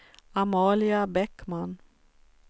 Amalia Bäckman